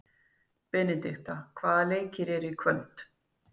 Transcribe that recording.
Benidikta, hvaða leikir eru í kvöld?